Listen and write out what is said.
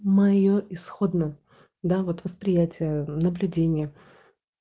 моё исходно да вот восприятие наблюдение